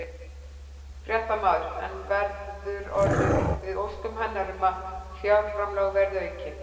Fréttamaður: En verður orðið við óskum hennar um að fjárframlög verið aukin?